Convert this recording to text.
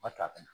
Ba to a na